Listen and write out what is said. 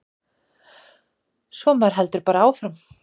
Svo maður heldur bara áfram.